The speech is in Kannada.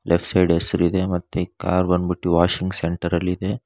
ಲೆಫ್ಟ್ ಸೈಡ್ ಹೆಸರ್ ಇದೆ ಮತ್ತು ಕಾರ್ ಬಂಡ್ಬುಟ್ಟು ವಾಷಿಂಗ್ ಸೆಂಟರ್ ಅಲ್ ಇದೆ.